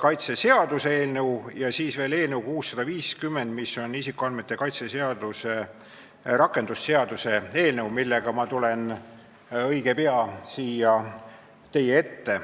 kaitse seaduse eelnõu, ja siis on veel eelnõu 650, mis on isikuandmete kaitse seaduse rakendamise seaduse eelnõu, millega ma tulen õige pea siia teie ette.